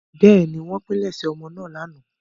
Bẹ́ẹ̀ni, wọ́n pilẹ̀sẹ̀ ọmọ náà lánàá.